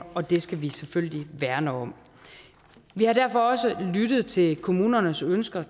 og det skal vi selvfølgelig værne om vi har derfor også lyttet til kommunernes ønsker